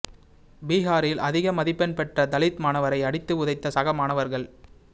பிஹாரில் அதிக மதிப்பெண் பெற்ற தலித் மாணவரை அடித்து உதைத்த சக மாணவர்கள்